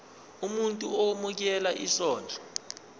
umuntu owemukela isondlo